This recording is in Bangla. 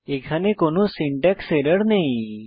এখানে কোনো সিনট্যাক্স এরর নেই